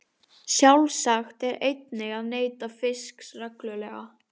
Sjálfsagt er einnig að neyta fisks reglulega.